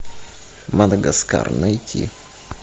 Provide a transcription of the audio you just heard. мадагаскар найти